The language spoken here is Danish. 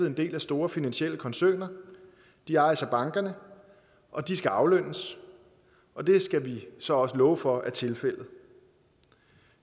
en del af store finansielle koncerner de ejes af bankerne og de skal aflønnes og det skal vi så også love for er tilfældet